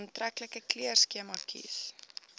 aantreklike kleurskema kies